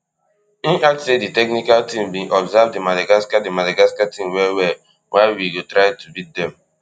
im add say di technical team bin observe di madagascar di madagascar team well well wia we go try to beat dem